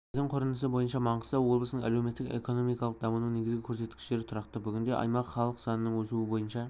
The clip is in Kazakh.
жыл сайынғы өсім құрап бүгінгі таңда облыс тұрғындарының саны мың адам болды өнеркәсіп өнімінің көлемі миллиард